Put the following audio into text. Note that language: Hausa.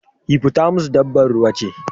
Hippotamus dabba ruwa ce